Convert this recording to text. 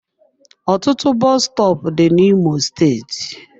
Ọtụtụ bọs stọọpu dị na imo steeti.